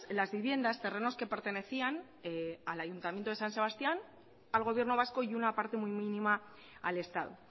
las viviendas terrenos que pertenecían al ayuntamiento de san sebastián al gobierno vasco y una parte muy mínima al estado